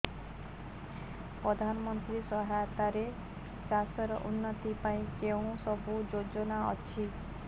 ପ୍ରଧାନମନ୍ତ୍ରୀ ସହାୟତା ରେ ଚାଷ ର ଉନ୍ନତି ପାଇଁ କେଉଁ ସବୁ ଯୋଜନା ଅଛି